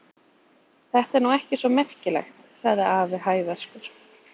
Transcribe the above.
Þetta er nú ekki svo merkilegt! sagði afi hæverskur.